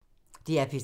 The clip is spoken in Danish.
DR P3